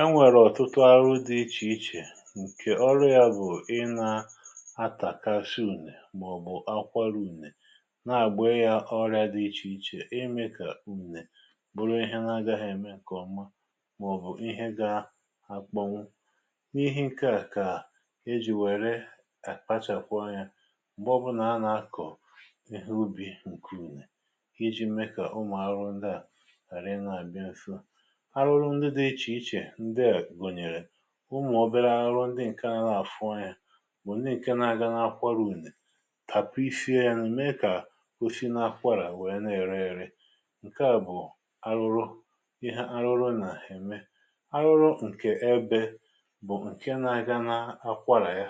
Enwèrè ọ̀tụtụ arụ dị iche iche nkè ọrụ bụ̀, ị na-atàkasi ùnè màọ̀bụ̀ akwaru ùnè, nà-àgbe ya orịa dị iche iche, imė kà ùnè bụrụ ihe na-agaghị̇ eme ǹkè ọma màọ̀bụ̀ ihe gà-akpọnwụ. N’ihi nkè a kà ejì wère akpachàkwọọ̀ anya mgbe ọbụlà a nà-akọ̀ ihe ubì ǹkè ùnè, iji̇ me kà ụmụ̀ arụ̀ ndị à ghara ịna-àbịa mfu. Aruru ndi di iche iche ndị a gụnyere, umụ̀ ọbẹrẹ arụ ndị ǹkẹ̀ nà-afụ anya bụ̀ ndị ǹkẹ nà-aga n’akwarùnè, tapụ̀ ifie yà, me kà, o si n’akwarà nwẹ nà-ere ėrẹ. Ǹkè à bụ̀ arụrụ ị ha arụrụ nà-èmekwa. Arụrụ nkẹ̀ ẹbẹ, bụ̀ ǹkẹ nȧ-aga n’akwarà ya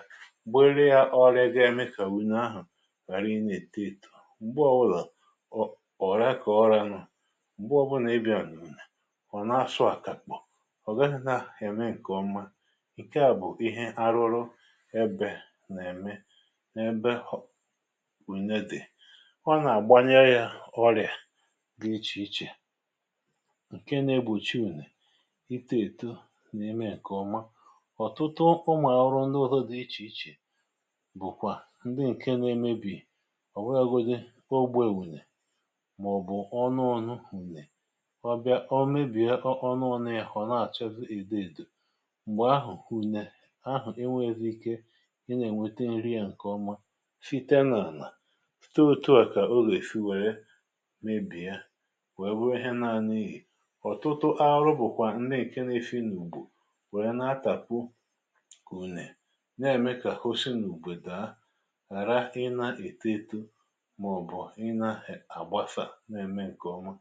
gbe rịa ọrịȧ ga-eme kà wunù ahụ̀ ghàra ịn’ète tù. Mgbe wụlà ọ ọ̀rà kà ọ ra nụ m̀gbu ọbụna ị bịȧ nùwùnè, ọ̀ nà-asụ àkàkpọ, ọ̀ gaghị na-eme nkeọma. Ǹkè à bụ̀ ihe arụrụ ẹbẹ̀ nà-ème n’ẹbẹ̀ wùnẹ dị̀. O nà-àgbanya yȧ ọrịa dị iche iche ǹkè nà-egbochi ùnè itė èto n’eme ǹkè ọma. Ọ̀tụtụ ụmụ̀ àọrọ ndị ụhụ dị iche iche bụ̀kwà ndị ǹkè nà-emebì, Ọ̀ nwe agụdị o gbu èwùnè, mà ọ̀ bụ̀ ọnụ ọnụ hụ̀nẹ̀. ọ bịa, ọ mebie ọnụ ya ọ na achazi edo edo. Mgbè ahụ̀ kunė àhụ e nwezi ike Ị nà-ènweta nri à ǹkè ọma site n’àlà. Tụtụ otu à kà o gà-èfi wère mebì ya, wèe bụrụ ihe na-ana ihė. Ọ̀tụtụ ahụrụ bụ̀kwà ǹne ǹkè nȧ-efi inùgbò, wèe na-atàpụ ùnè nà-ème kà hụ sinù n’ùbè dàa, ghàra ịnȧ-èto eto màọ̀bụ̀ ịnȧ-àgbasà, nà-ème ǹkè ọma.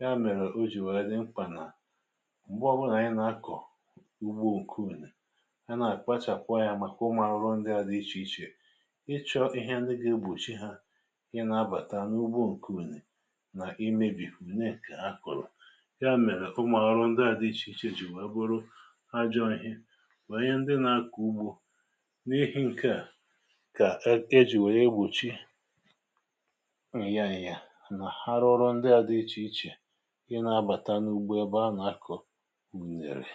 Ya mèrè o jì wèe dị mkpà nà mgbe ọ bụla anyị na akor ugbo ǹkee ùnè I ganà-akpachàkwa anya, màkà ụmụ̀rụ ndị adị iche iche. Ịchọ̇ ihe ndi gà-egbòchi hȧ ị nà-abàta n’ugbo ǹkèè ùnè, nà-imėbìfù ùnè nke akọ̀rọ̀. Ya mèrè, ụmụ̀rụ̀ ndị à dị iche iche jì wee bụrụ ajọọ ihe ma nye ndị nà-akọ̀ ụgbọ. N’ehì ǹkeà, kà e jì wèe egbùchi ị yaà yà, nà ha rụọrụ ndị adị iche iche, ị nà-abàta n’ugbo ebe ha nà-akọ̀ unere.